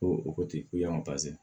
Ko o ko ti ko yan